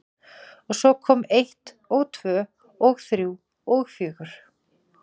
Og svo kom eitt og tvö og þrjú og fjögur.